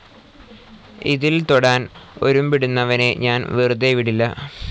ഇതിൽ തൊടാൻ ഒരുമ്പെടുന്നവനെ ഞാൻ വെറുതെ വിടില്ല.